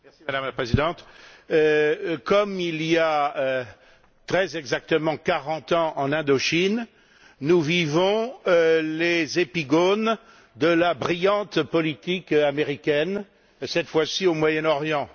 Madame la Présidente, comme il y a très exactement quarante ans, en Indochine, nous vivons les épigones de la brillante politique américaine, cette fois au Moyen Orient.